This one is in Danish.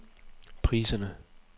priserne